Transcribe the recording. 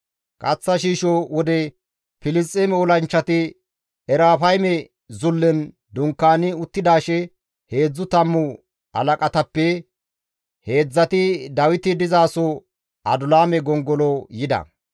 Kaththa shiisho wode Filisxeeme olanchchati Erafayme zullen dunkaani uttidaashe heedzdzu tammu halaqatappe heedzdzati Dawiti dizaso Adulaame gongolo yida.